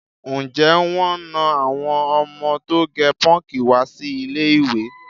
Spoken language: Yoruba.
Ǹjẹ́ wọ́n na àwọn ọmọ tó gẹ pọ́ǹkì wá sí ilé-ìwé?